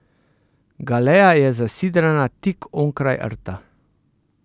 Galeja je zasidrana tik onkraj rta.